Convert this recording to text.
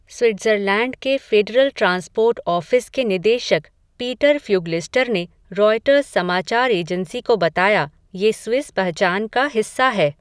Switzerland के Federal Transport Office के निदेशक, पीटर फ़्यूगलिस्टर ने, रॉयटर्स समाचार एजेंसी को बताया, ये स्विस पहचान का हिस्सा है.